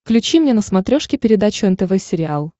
включи мне на смотрешке передачу нтв сериал